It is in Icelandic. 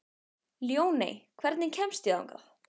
Ljóney, hvernig kemst ég þangað?